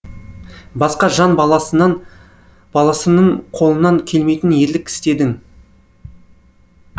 басқа жан баласынын қолынан келмейтін ерлік істедің